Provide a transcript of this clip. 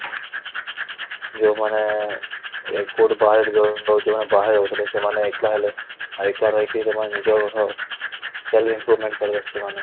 ଯୋଉ ମାନେ ଏ କୋଉଠି ବାହାରେ ଯୋଉ ମାନେ ବାହାରେ ରହୁଥିଲେ ସେମାନେ ଏକଲା ହେଲେ ଏକା ରହିକି ସେମାନେ ନିଜର self improvement କରିବେ ସେମାନେ